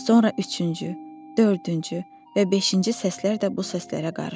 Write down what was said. Sonra üçüncü, dördüncü və beşinci səslər də bu səslərə qarışdı.